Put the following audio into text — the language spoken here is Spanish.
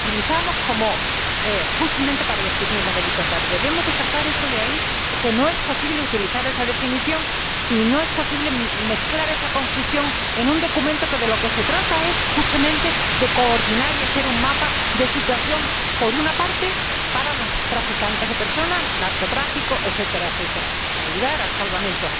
La utilizamos justamente para definir los delitos graves y debemos quitarla de ahí, porque no es posible utilizar esa definición y no es posible mezclar esa confusión en un documento en el que de lo que se trata es justamente de coordinar y hacer un mapa de situación, por una parte, para luchar contra los traficantes de personas, narcotráfico, etc., y, por otra, para ayudar al salvamento.